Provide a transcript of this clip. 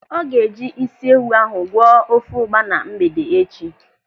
Ọ ga-eji ịsị ewu ahụ gwọọ ofe ụgba na mgbede echi.